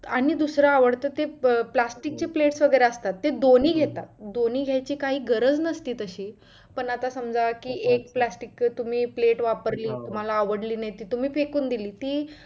आणि दुसरं आवडतं ते plastic ची plates वगैरे असतात ते दोन्ही घेतात दोन्ही घायची काही गरज नसते तशी पण आता समजा कि एक plastic ची तुम्ही plate वापरली तुम्हाला आवडली नाही तर तुम्ही फेकून दिली ती